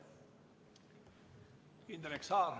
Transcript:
Indrek Saar.